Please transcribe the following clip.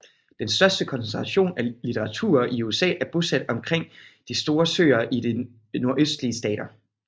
Den største koncentration af litauere i USA er bosat omkring de store søere og de nordøstlige stater